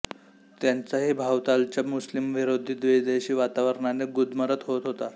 त्यांचाही भवतालच्या मुस्लिमविरोधी विद्वेषी वातावरणाने गुदमरत होत होता